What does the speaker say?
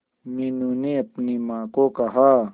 मीनू ने अपनी मां को कहा